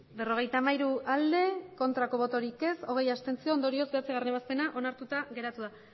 hirurogeita hamairu bai berrogeita hamairu abstentzioak hogei ondorioz bederatzigarrena ebazpena onartuta geratu da